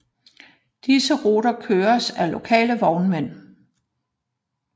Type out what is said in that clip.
Disse ruter køres af lokale vognmænd